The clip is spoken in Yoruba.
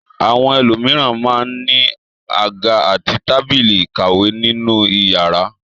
Àwọn ẹlòmíràn máa ń ní àga àti tábìlì ìkàwé nínú ìyàrá.